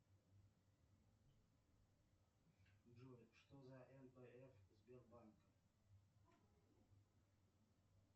джой что за нпф сбербанк